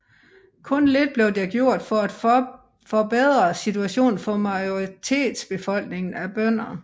Kun lidt blev gjort for at forbedre situationen for majoritetsbefolkningen af bønder